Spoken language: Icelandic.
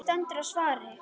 Það stendur á svari.